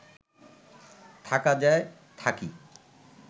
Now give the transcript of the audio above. থাকা যায়, থাকি